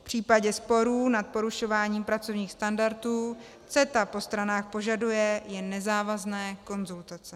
V případě sporu nad porušováním pracovních standardů CETA po stranách požaduje jen nezávazné konzultace.